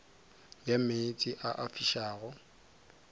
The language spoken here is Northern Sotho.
ya meetse a a fišago